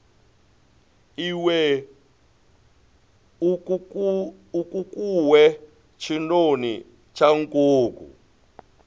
iwe nkukuwe tshinoni tsha nkuku